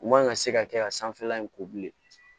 U man ka se ka kɛ ka sanfɛla in ko bilen